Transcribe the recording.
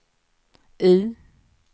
U